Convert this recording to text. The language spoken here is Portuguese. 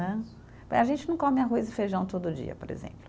Né. A gente não come arroz e feijão todo dia, por exemplo.